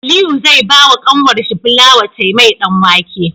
Aliyu zai bawa kanwar shi fulawa ta mai dan wake